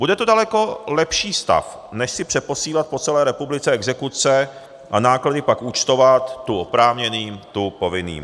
Bude to daleko lepší stav, než si přeposílat po celé republice exekuce a náklady pak účtovat tu oprávněným, tu povinným.